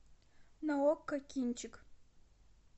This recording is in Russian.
на окко кинчик